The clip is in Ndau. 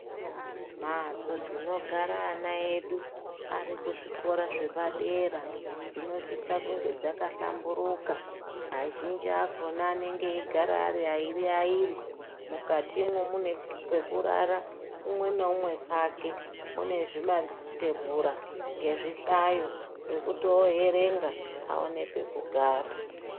Mhatso dzinogara ana edu arikuzvikora zvepadera dzinosisirwa kunge dzakahlamburika. Azhinji akona anenge aigara ari airi airi . Mukatimwo mwunenge mune pekurara umwe neumwe pake .Mune zvimatebhura nezvihlayo zvekoerenga awane pekugara.